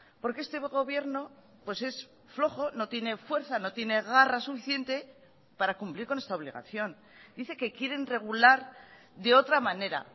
porque este gobierno pues es flojo no tiene fuerza no tiene garra suficiente para cumplir con esta obligación dice que quieren regular de otra manera